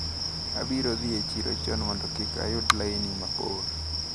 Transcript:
Abiro dhi e chiro chon mondo kik ayud laini mabor.